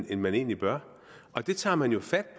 end man egentlig bør og det tager man jo fat